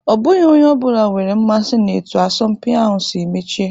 Ọ bụghị onye ọ bụla nwere mmasị na etu asọmpi ahụ si mechie.